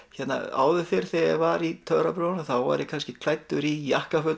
áður fyrr þegar ég var í töfrabrögðunum var ég kannski klæddur í jakkaföt